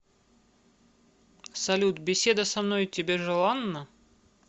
салют беседа со мной тебе желанна